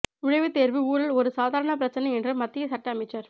நுழைவுத் தேர்வு ஊழல் ஒரு சாதாரண பிரச்சனை என்று மத்திய சட்ட அமைச்சர்